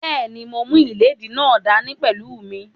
Bẹ́ẹ̀ni, mo mú ìléèdí náà dá ní pẹ̀lú mí